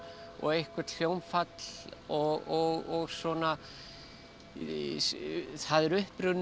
og eitthvert hljómfall og svona það er upprunnið